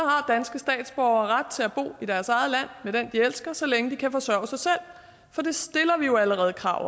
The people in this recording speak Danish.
statsborgere ret til at bo i deres eget land med den de elsker så længe de kan forsørge sig selv for det stiller vi jo allerede krav